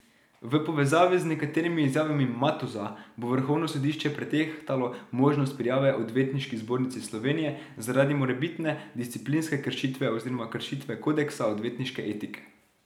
V povezavi z nekaterimi izjavami Matoza bo vrhovno sodišče pretehtalo možnost prijave Odvetniški zbornici Slovenije zaradi morebitne disciplinske kršitve oziroma kršitve kodeksa odvetniške etike.